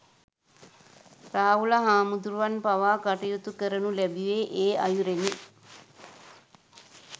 රාහුල හාමුදුරුවන් පවා කටයුතු කරනු ලැබුවේ, ඒ අයුරෙනි.